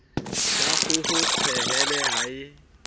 la kgoho pehele o e